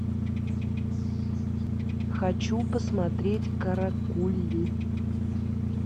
хочу посмотреть каракули